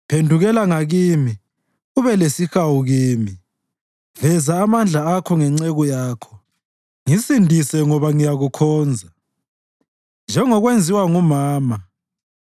Phendukela ngakimi ube lesihawu kimi; veza amandla akho ngenceku yakho, ngisindise ngoba ngiyakukhonza, njengokwenziwa ngumama.